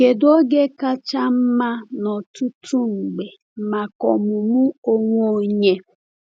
Kedu oge kacha mma n’ọtụtụ mgbe maka ọmụmụ onwe onye?